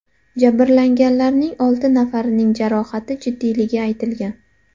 Jabrlanganlarning olti nafarining jarohati jiddiyligi aytilgan.